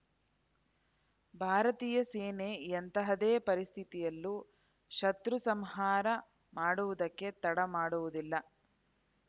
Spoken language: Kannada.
ಭಾರತೀಯ ಸೇನೆ ಎಂತಹದ್ದೇ ಪರಿಸ್ಥಿತಿಯಲ್ಲೂ ಶತೃ ಸಂಹಾರ ಮಾಡುವುದಕ್ಕೆ ತಡ ಮಾಡುವುದಿಲ್ಲ